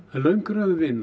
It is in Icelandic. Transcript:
löng röð vina